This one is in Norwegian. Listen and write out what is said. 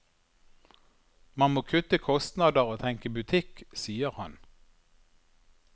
Man må kutte kostnader og tenke butikk, sier han.